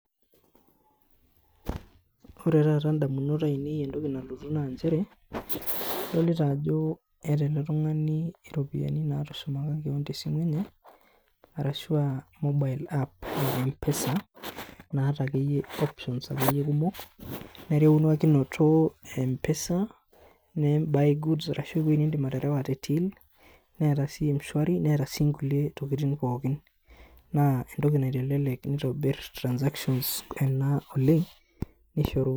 ore taata ndamunot ainei entoki nalotu naa nchere, idolita ajo eeta ele tung'ani ropiani naatushumaka kewon te simu enye arashu a mobile apps e mpesa naata akeyie options akeyie kumok erewakinoto e mpesa naim buy goods arashu piikindim aterewa te till neeta sii m-shwari neeta sii nkulie tokiting pookin naa entoki naitelelek neitobir transactions ena oleng neishoru...